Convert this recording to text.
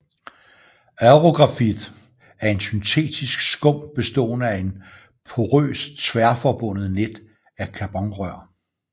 Aerografit er en syntetisk skum bestående af en porøs tværforbundet net af carbonrør